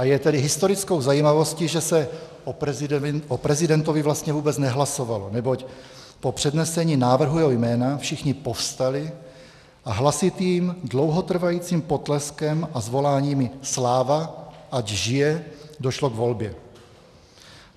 A je tedy historickou zajímavostí, že se o prezidentovi vlastně vůbec nehlasovalo, neboť po přednesení návrhu jeho jména všichni povstali a hlasitým dlouhotrvajícím potleskem a zvoláními "Sláva, ať žije!" došlo k volbě.